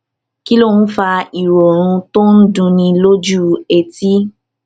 kí ló ń fa ìròrùn tó ń dunni lójú etí